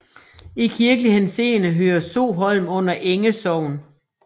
I kirkelig henseende hører Soholm under Enge Sogn